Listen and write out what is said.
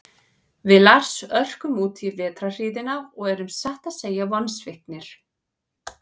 Við Lars örkum útí vetrarhríðina og erum satt að segja vonsviknir.